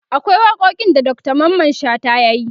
akwai waƙoƙin da Dr Mamman shata yayi